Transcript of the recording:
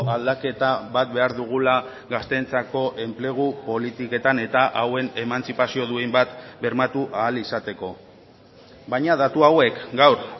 aldaketa bat behar dugula gazteentzako enplegu politiketan eta hauen emantzipazio duin bat bermatu ahal izateko baina datu hauek gaur